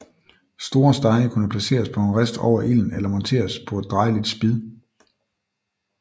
Store stege kunne placeres på en rist over ilden eller monteres på et drejeligt spid